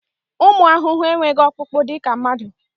Ụmụ ahụhụ enweghị ọkpụkpụ dịka mmadụ.